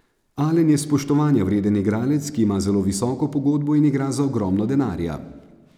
Alen je spoštovanja vreden igralec, ki ima zelo visoko pogodbo in igra za ogromno denarja.